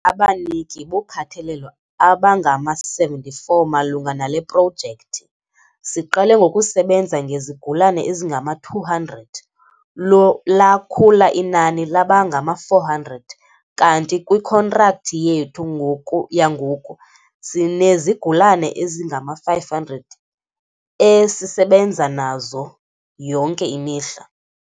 "Abaniki bokhathalelo abangama-74 malunga nale projekthi. Siqale ngokusebenza ngezigulana ezingama-200, lakhula inani laba ngama-400, kanti kwikhontrakthi yethu ngoku yangoku sinezigulana ezingama-500 esisebenza nazo yonke imihla."